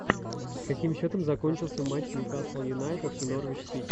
с каким счетом закончился матч ньюкасл юнайтед и норвич сити